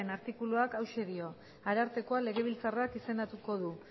artikuluak hauxe dio arartekoa legebiltzarrak izendatuko du